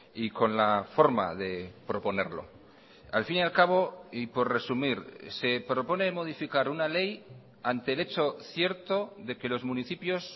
y con la forma de proponerlo al fin y al cabo y por resumir se propone modificar una ley ante el hecho cierto de que los municipios